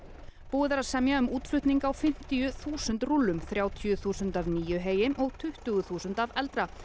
búið er að semja um útflutning á fimmtíu þúsund rúllum þrjátíu þúsund af nýju heyi og tuttugu þúsund af eldra